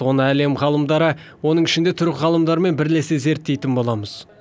оны әлем ғалымдары оның ішінде түрік ғалымдарымен бірлесе зерттейтін боламыз